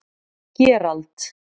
Gerald